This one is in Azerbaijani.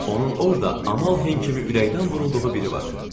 Onun orda Amalhen kimi ürəkdən vurulduğu biri var.